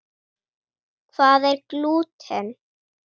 Hvað er glúten?